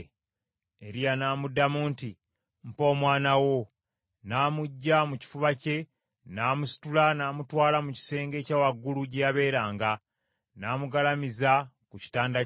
Eriya n’amuddamu nti, “Mpa omwana wo.” N’amuggya mu kifuba kye, n’amusitula n’amutwala mu kisenge ekya waggulu gye yabeeranga, n’amugalamiza ku kitanda kye.